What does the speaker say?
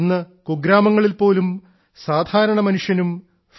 ഇന്ന് കുഗ്രാമങ്ങളിൽ പോലും സാധാരണ മനുഷ്യനും ഫിൻടെക് യു